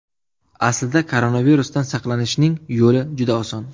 Aslida koronavirusdan saqlanishning yo‘li juda oson.